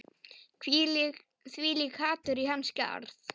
Þvílíkt hatur í hans garð